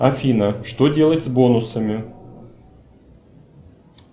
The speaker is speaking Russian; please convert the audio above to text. афина что делать с бонусами